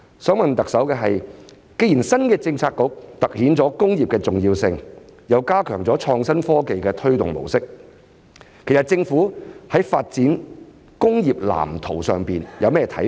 想問特首的是，既然新的政策局凸顯了工業的重要性，又加強了創新科技的推動模式，其實政府在發展工業藍圖上有甚麼看法？